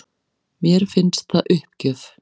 Mér finnst það uppgjöf